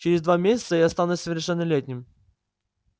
через два месяца я стану совершеннолетним